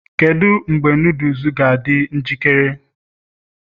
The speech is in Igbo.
kedu mgbe noodles ga-adị njikere?